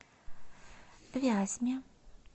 вязьме